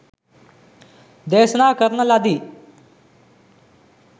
දේශනා කරන ලදී.